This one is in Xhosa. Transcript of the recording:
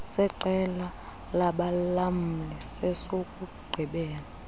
seqela labalamli sesokugqibela